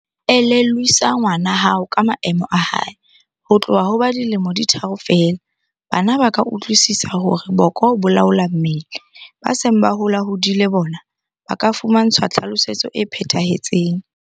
Elellwisa ngwana hao ka maemo a hae. Ho tloha ba le dilemo di tharo feela, bana ba ka utlwisisa hore boko bo laola mmele. Ba seng ba holahodile bona ba ka fumantshwa tlhalosetso e phethahetseng.